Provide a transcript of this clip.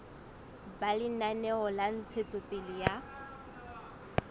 ba lenaneo la ntshetsopele ya